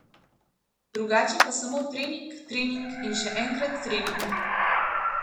Drugače pa samo trening, trening in še enkrat trening.